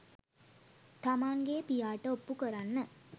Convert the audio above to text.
තමන්ගේ පියාට ඔප්පු කරන්න